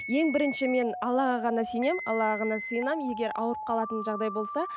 ең бірінші мен аллаға ғана сенемін аллаға ғана сыйынамын егер ауырып қалатын жағдай болса